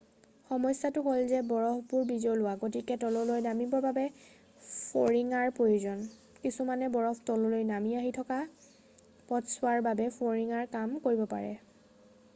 সমস্যটো হ'ল যে বৰফবোৰ বিজলুৱা গতিকে তললৈ নামিবৰ বাবে ফৰিঙাৰ প্ৰয়োজন কিছুমান বৰফ তললৈ নামি আহি বাকী থকা পথছোৱাৰ বাবে ফৰিঙাৰ কাম কৰিব পাৰে